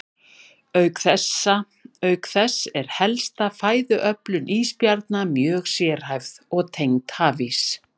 Auk þess er helsta fæðuöflun ísbjarna mjög sérhæfð og tengd hafís.